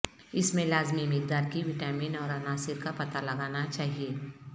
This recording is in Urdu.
اس میں لازمی مقدار کی وٹامن اور عناصر کا پتہ لگانا چاہئے